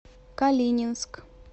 калининск